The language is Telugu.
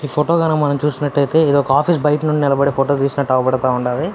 ఈ ఫోటో గనక మనం చూసినట్టైతే ఇదొక ఆఫీస్ బయట నుండి నిలబడి ఫోటో తీసినట్టు అవుపడతా ఉండాది.